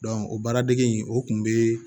o baara dege in o kun bɛ